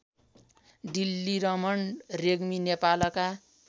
डिल्लीरमण रेग्मी नेपालका